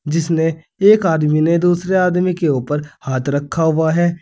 जिसने एक आदमी ने दूसरे आदमी के ऊपर हाथ रखा हुआ है।